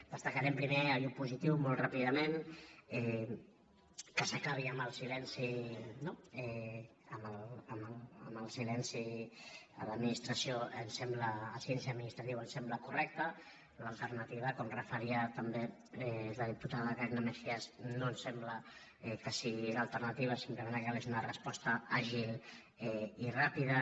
destacarem primer allò positiu molt ràpidament que s’acabi amb el silenci no a l’administració el silenci administratiu ens sembla correcte l’alternativa com referia també la diputada carina mejías no ens sembla que sigui l’alternativa simplement el que cal és una resposta àgil i ràpida